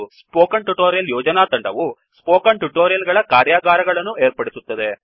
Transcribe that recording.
spoken tutorial ಯೋಜನಾ ತಂಡವು spoken tutorial ಗಳ ಕಾರ್ಯಾಗಾರಗಳನ್ನು ಏರ್ಪಡಿಸುತ್ತದೆ